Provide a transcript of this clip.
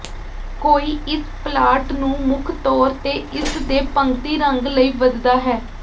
ਕੋਈ ਇਸ ਪਲਾਂਟ ਨੂੰ ਮੁੱਖ ਤੌਰ ਤੇ ਇਸ ਦੇ ਪੰਗਤੀ ਰੰਗ ਲਈ ਵਧਦਾ ਹੈ